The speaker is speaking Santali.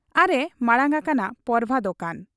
ᱟᱨ ᱮ ᱢᱟᱬᱟᱝ ᱟᱠᱟᱱᱟ ᱯᱚᱨᱵᱷᱟ ᱫᱚᱠᱟᱱ ᱾